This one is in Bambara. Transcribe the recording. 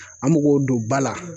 An bɛ k'o don ba la